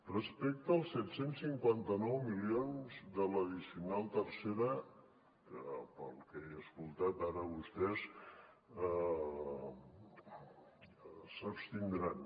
respecte als set cents i cinquanta nou milions de l’addicional tercera que pel que he escoltat ara vostès s’abstindran